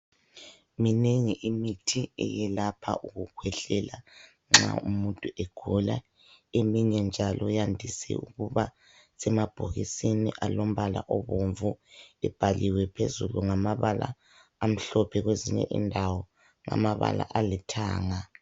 Minengi imithi eyelapha ukukhwehlela nxa umuntu egula. Eminye njalo yandise ukuba semabhokisini alombala obomvu ibhaliwe phezulu ngamabala amhlophe kwezinye indawo amabala alithanga.